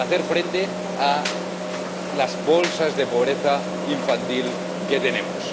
para hacer frente a las bolsas de pobreza infantil que tenemos.